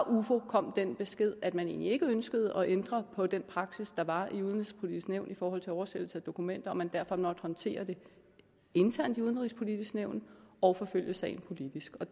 ufo kom den besked at man ikke ønskede at ændre på den praksis der var i udenrigspolitisk nævn i forhold til oversættelse af dokumenter og at man derfor måtte håndtere det internt i udenrigspolitisk nævn og forfølge sagen politisk og